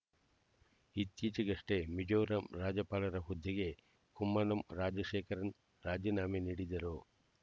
ಇತ್ತೀಚೆಗಷ್ಟೇ ಮಿಜೋರಾಂ ರಾಜ್ಯಪಾಲರ ಹುದ್ದೆಗೆ ಕುಮ್ಮನಂ ರಾಜಶೇಖರನ್ ರಾಜೀನಾಮೆ ನೀಡಿದರು